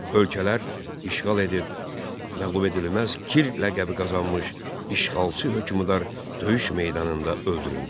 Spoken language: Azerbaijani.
Ölkələr işğal edib, məğlubedilməz Kir ləqəbi qazanmış işğalçı hökmdar döyüş meydanında öldürüldü.